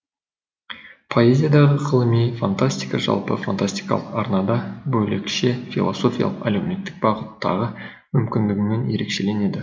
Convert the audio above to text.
поэзиядағы ғылыми фантастика жалпы фантастикалық арнада бөлекше философиялық әлеумметтік бағыттағы мүмкіндігімен ерекшеленеді